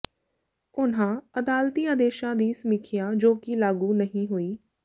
ਉਨ੍ਹਾਂ ਅਦਾਲਤੀ ਆਦੇਸ਼ਾਂ ਦੀ ਸਮੀਖਿਆ ਜੋ ਕਿ ਲਾਗੂ ਨਹੀਂ ਹੋਈ